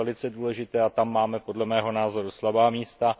To je velice důležité a tam máme, podle mého názoru, slabá místa.